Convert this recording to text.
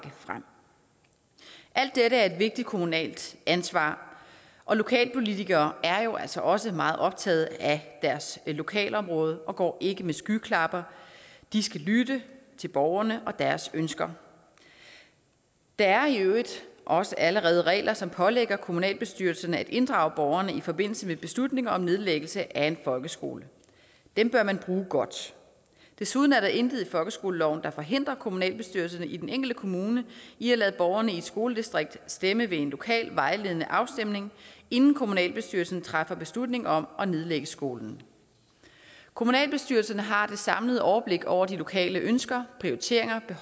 frem alt dette er et vigtigt kommunalt ansvar og lokalpolitikere er jo altså også meget optaget af deres lokalområde og går ikke med skyklapper de skal lytte til borgerne og deres ønsker der er i øvrigt også allerede regler som pålægger kommunalbestyrelserne at inddrage borgerne i forbindelse med beslutninger om nedlæggelse af en folkeskole dem bør man bruge godt desuden er der intet i folkeskoleloven der forhindrer kommunalbestyrelserne i den enkelte kommune i at lade borgerne i et skoledistrikt stemme ved en lokal vejledende afstemning inden kommunalbestyrelsen træffer beslutning om at nedlægge skolen kommunalbestyrelserne har det samlede overblik over de lokale ønsker prioriteringer